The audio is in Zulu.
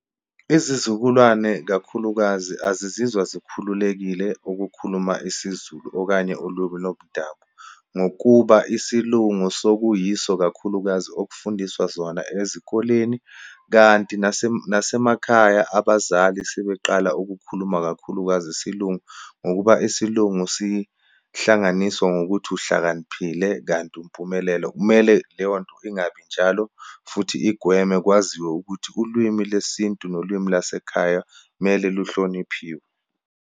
Izizukulwane, kakhulukazi azizizwa zikhululekile ukukhuluma isiZulu, okanye olumi lomdabu. Ngokuba isiLungu sekuyiso, kakhulukazi okufundiswa zona ezikoleni, kanti ukuthi nasemakhaya abazali sebeqala ukukhuluma, kakhulukazi isiLungu. Ngokuba isiLungu sihlanganiswa ngokuthi uhlakaniphile, kanti umpumelelo. Kumele leyo nto ingabi njalo futhi igweme kwaziwe ukuthi ulwimi lesintu nolwimi lasekhaya mele luhloniphiwe.